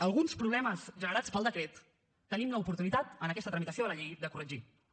alguns problemes generats pel decret tenim l’oportunitat en aquesta tramitació de la llei de corregir los